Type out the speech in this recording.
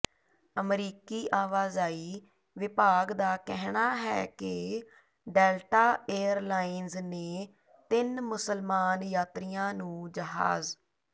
ਅਮਰੀਕੀ ਆਵਾਜਾਈ ਵਿਭਾਗ ਦਾ ਕਹਿਣਾ ਹੈ ਕਿ ਡੈਲਟਾ ਏਅਰਲਾਈਨਸ ਨੇ ਤਿੰਨ ਮੁਸਲਮਾਨ ਯਾਤਰੀਆਂ ਨੂੰ ਜਹਾਜ਼